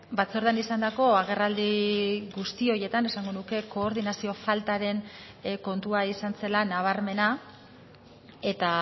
batzordean izandako agerraldi guzti horietan esango nuke koordinazio faltaren kontua izan zela nabarmena eta